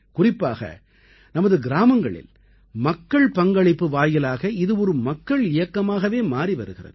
குறிப்பாக நமது கிராமங்களில் மக்கள் பங்களிப்பு வாயிலாக இது ஒரு மக்கள் இயக்கமாகவே மாறி வருகிறது